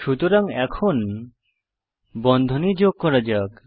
সুতরাং এখন বন্ধনী যোগ করা যাক